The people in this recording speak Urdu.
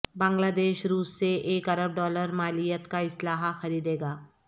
بنگلہ دیش روس سے ایک ارب ڈالر مالیت کا اسلحہ خریدے گا